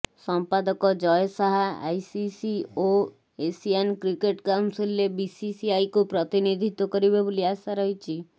ସମ୍ପାଦକ ଜୟ ଶାହା ଆଇସିସି ଓ Asian cricket କାଉନସିଲ୍ରେ ବିସିସିଆଇକୁ ପ୍ରତିନିଧିତ୍ବ କରିବେ ବୋଲି ଆଶା ରହିଛି